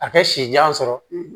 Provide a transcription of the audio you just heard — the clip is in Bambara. A kɛ si jan sɔrɔ